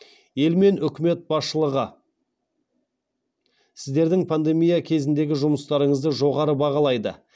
ел мен үкімет басшылығы сіздердің пандемия кезіндегі жұмыстарыңызды жоғары бағалайды